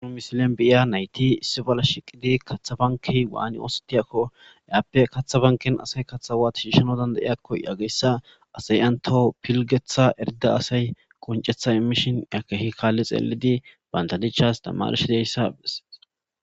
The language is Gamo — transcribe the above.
Ha misiliyan de7iya nayti kaththa bankkey waani ooththetiyaako izape kaththa bankken asay katththa waati bira shiishiyaako yaageththa asay entaw pilgeththa asay entaw imishin bantta dichaw qonceththa imishin besees.